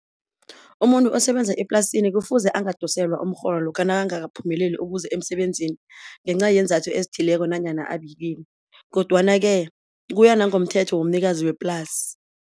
Umuntu osebenza eplasini kufuze angadoselwa umrholo lokha nakangakaphumeleli ukuza emsebenzini ngenca yeenzathu ezithileko nanyana kodwana-ke kuya nangomthetho womnikazi weplasi.